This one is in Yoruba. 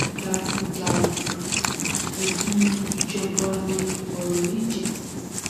dájúdájú ẹbi ìjọba wa ni ọrọ yìí jẹ